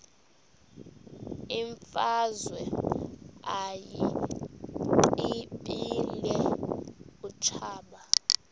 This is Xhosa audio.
imfazwe uyiqibile utshaba